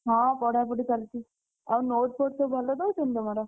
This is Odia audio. ହଁ ପଢାପଢି ଚାଲିଛି। ଆଉ note ଫୋଟ୍ ସବୁ ଭଲ ଦଉଛନ୍ତି ତମର?